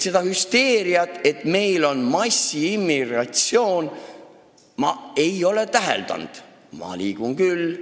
Seda hüsteeriat, et meil on massiimmigratsioon, ei ole ma täheldanud, ehkki ma liigun ringi küll.